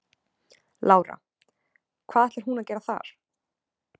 Lára: Hvað ætlar hún að gera þar?